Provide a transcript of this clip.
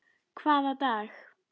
Hvaða dag?